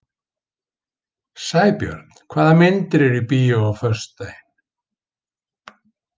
Sæbjörn, hvaða myndir eru í bíó á föstudaginn?